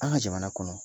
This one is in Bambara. An ka jamana kɔnɔ